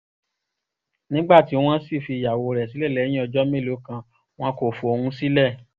nígbà tí wọ́n sì fi ìyàwó rẹ̀ sílẹ̀ lẹ́yìn ọjọ́ mélòó kan wọn kò fóun sílẹ̀